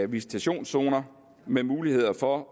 visitationszoner med mulighed for